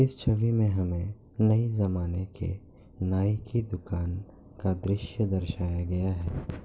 इस छवि में हमे नए जमाने के नाई की दुकान का दृश्य दर्शाया गया है।